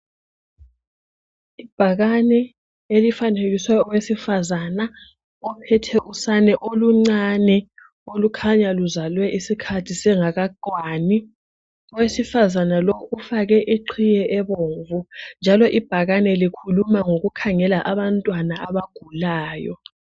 Ibhakane elifanekiswe owesifazana. Ophethe usana oluncane, olukhanya luzalwe isikhathi singakakwani. Owesifazana lo ufake iqhiye ebomvu. Ibhakane leli likhuluma ngokukhangela abantwana, abagulayo.